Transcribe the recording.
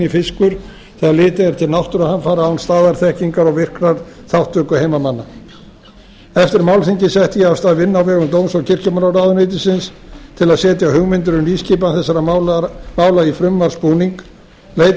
fiskur þegar litið er til náttúruhamfara án staðarþekkingar og virkrar þátttöku heimamanna eftir málþingið setti ég af stað vinnu á vegum dóms og kirkjumálaráðuneytisins til að setja hugmyndir um nýskipan þessara mála í frumvarpsbúning leitað